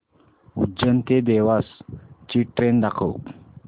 उज्जैन ते देवास ची ट्रेन दाखव